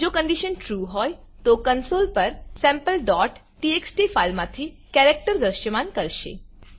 જો કન્ડીશન trueટ્રૂ હોયતો કન્સોલ પર sampleટીએક્સટી ફાઈલ માંથી કેરેક્ટર દ્રશ્યમાન કરશે